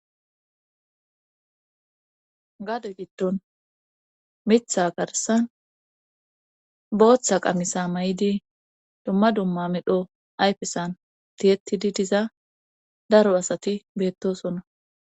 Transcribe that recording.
gade giddon mitha garsan booththa qamisa mayidi dumma dumma medho ayfesan diyettidi diza daro asati beettosona